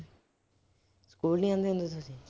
School ਨੀ ਜਾਂਦੇ ਹੁੰਦੇ ਤੁਸੀਂ।